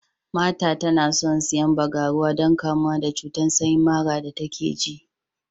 Martha tana son siyan bagaruwa don kamuwa da cuta sanyi mara da take ji.